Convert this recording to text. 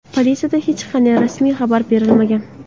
Politsiyada hech qanday rasmiy xabar berilmagan.